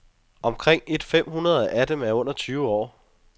Omkring et fem hundrede af dem er under tyve år.